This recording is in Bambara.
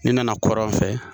Ni nana kɔrɔn fɛ